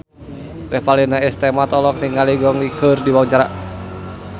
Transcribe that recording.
Revalina S. Temat olohok ningali Gong Li keur diwawancara